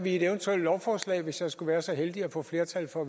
i et eventuelt lovforslag hvis vi skulle være så heldige at få flertal for